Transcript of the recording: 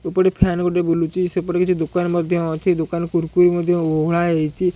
ଉପଟେ fan ଗୋଟେ ବୁଲୁଚି ସେପଟେ କିଛି ଦୋକାନ ମଧ୍ୟ ଅଛି ଦୋକାନରେ କୁରକୁରି ମଧ୍ୟ ଓହଳା ହେଇଚି।